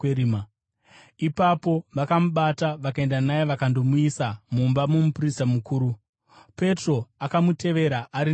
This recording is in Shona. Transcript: Ipapo vakamubata, vakaenda naye vakandomuisa mumba momuprista mukuru. Petro akamutevera ari nechokure.